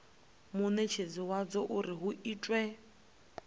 munetshedzi wadzo uri hu itwe